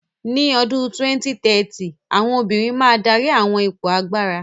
Ní ọdún 2030, àwọn obìnrin máa dárí àwọn ipò agbára.